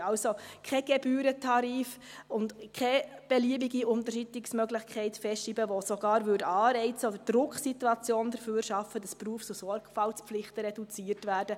Wir können also keinen Gebührentarif und keine beliebige Unterschreitungsmöglichkeit festschreiben, die sogar Anreize oder Drucksituationen schaffen würde, dass Berufs- und Sorgfaltspflichten reduziert werden.